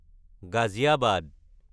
Ghaziabad